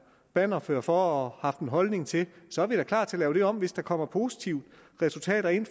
bannerfører for og haft en holdning til så er vi da klar til at lave det om hvis der kommer positive resultater ind